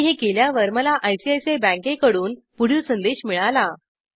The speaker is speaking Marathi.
मी हे केल्यावर मला आयसीआयसीआय बँकेकडून पुढील संदेश मिळाला